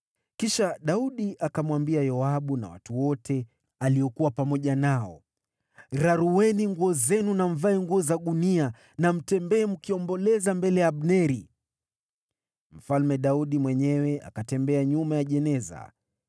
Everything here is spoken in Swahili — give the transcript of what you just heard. Kisha Daudi akamwambia Yoabu na watu wote aliokuwa pamoja nao, “Rarueni nguo zenu na mvae nguo za gunia na mtembee mkiomboleza mbele ya Abneri.” Mfalme Daudi mwenyewe akatembea nyuma ya jeneza.